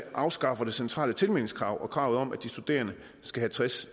afskaffer det centrale tilmeldingskrav og kravet om at de studerende skal have tres